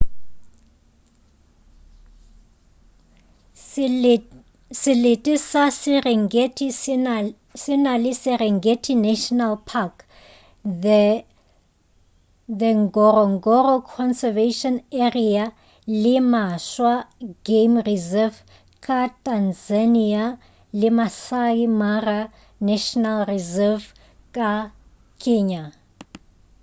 selete sa serengeti se na le serengeti national park the ngorongoro conservation area le maswa game reserve ka tanzania le maasai mara national reserve ka kenya